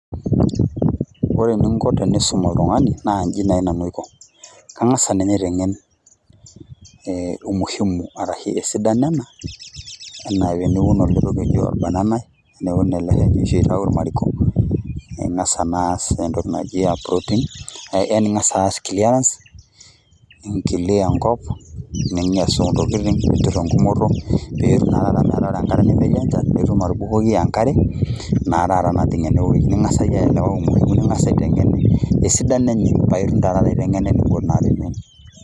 Ore eninko tenisum oltungani naa inji nai Nanu aiko. Kangas ninye aitengen ee umuhimu arahe esidano ena ,enaa teniun ele Shani oshi outayu irmariko ,ningas naa aas entoki naji uprooting . Yani ingas aas clearance ,nikilia enkop ninya esontokitin ,nitur engumoto nmetaa ore enkata nemetii enchan ,nitum atubukoki enkare naa taata najing ene weui .